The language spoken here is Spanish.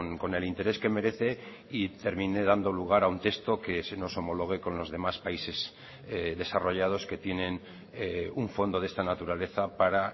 con el interés que merece y termine dando lugar a un texto que se nos homologue con los demás países desarrollados que tienen un fondo de esta naturaleza para